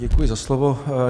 Děkuji za slovo.